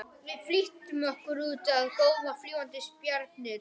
Við flýttum okkur út að góma fljúgandi spjarirnar.